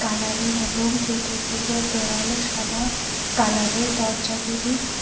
প্লিরারের এবং চতুর্দিকের দেয়ালও সাদা কালারের দরজা গুলি--